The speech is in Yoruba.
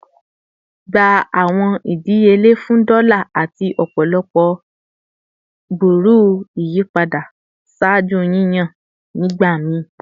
Gba awọn idiyele fun dola lati ọpọlọpọ ibẹwẹ de iyipada ṣaaju yiyan nigbakan nigbamii!